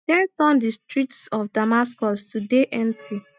fear turn di streets of damascus to dey empty